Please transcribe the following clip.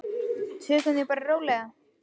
Tökum því bara rólega.